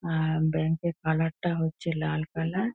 আ bank এর colour টা হচ্ছে লাল কালার ।